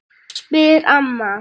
spyr amma.